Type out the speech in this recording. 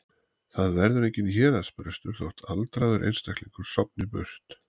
Það verður enginn héraðsbrestur þótt aldraður einstæðingur sofni burt.